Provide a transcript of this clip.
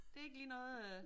Det er ikke lige noget øh